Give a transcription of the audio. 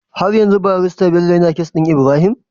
Har yanzu barista Bello yAna case din Ibrahim?